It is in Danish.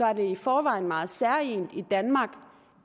er det i forvejen meget særegent for danmark